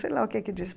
Sei lá o que que disse.